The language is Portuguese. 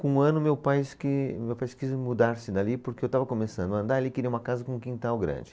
Com um ano, meu pais que, meu pai quis mudar-se dali porque eu estava começando a andar e ele queria uma casa com um quintal grande.